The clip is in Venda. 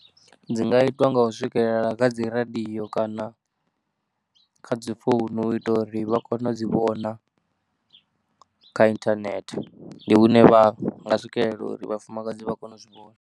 Dzi nga itwa nga u swikelela kha dzi radio kana kha dzi founu u ita uri vha kone u dzi vhona kha internet. Ndi hune vha nga swikelela uri vhafumakadzi vha kone u zwi vhona.